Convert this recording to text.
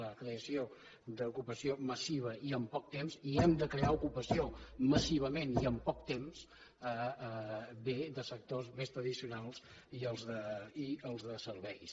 la creació d’ocupació massiva i en poc temps i hem de crear ocupació massivament i en poc temps ve de sectors més tradicionals i dels de serveis